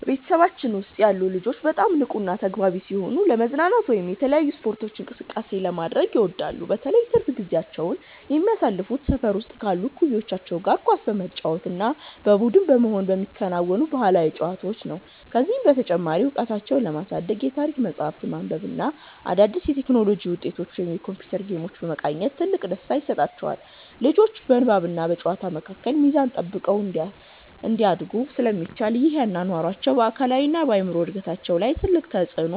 በቤተሰባችን ውስጥ ያሉ ልጆች በጣም ንቁና ተግባቢ ሲሆኑ፣ ለመዝናናት ደግሞ የተለያዩ ስፖርታዊ እንቅስቃሴዎችን ማድረግ ይወዳሉ። በተለይ ትርፍ ጊዜያቸውን የሚያሳልፉት ሰፈር ውስጥ ካሉ እኩዮቻቸው ጋር ኳስ በመጫወት እና በቡድን በመሆን በሚከወኑ ባህላዊ ጨዋታዎች ነው። ከዚህም በተጨማሪ እውቀታቸውን ለማሳደግ የታሪክ መጽሐፍትን ማንበብ እና አዳዲስ የቴክኖሎጂ ውጤቶችን ወይም የኮምፒውተር ጌሞችን መቃኘት ትልቅ ደስታ ይሰጣቸዋል። ልጆቹ በንባብና በጨዋታ መካከል ሚዛን ጠብቀው እንዲያድጉ ስለሚደረግ፣ ይህ አኗኗራቸው በአካላዊና በአእምሮ እድገታቸው ላይ ትልቅ በጎ ተጽዕኖ